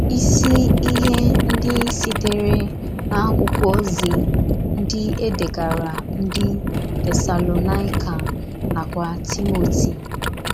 Ịsi Ihe ndị sitere n’akwụkwọ ozi ndị édegaara ndị Tesalonaịka nakwa Timoti